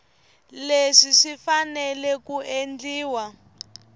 leswi swi fanele ku endliwa